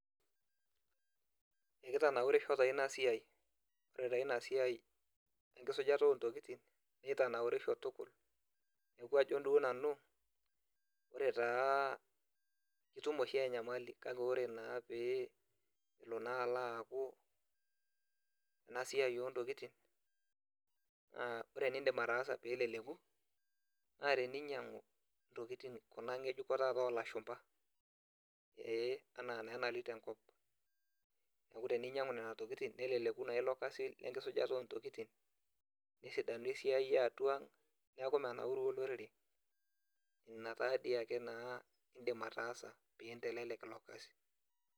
Ekitanaurisho taa inasiai. Ore taa inasiai enkisujata ontokiting, kitanaurisho tukul. Neeku ajo duo nanu, ore taa itum oshi enyamali. Kake ore naa pe elo naa alo aku inasiai ontokiting, naa ore enidim ataasa peleleku, naa teninyang'u intokiting kuna ng'ejuko taata olashumpa. Ee enaa naa nalito enkop. Neku teninyang'u nena tokiting, neleleku naa ilo kasi lenkisujata ontokiting, nesidanu esiai eatua ang, neeku menauru olorere. Ina taadiake naa idim ataasa, pintelelek ilo kasi.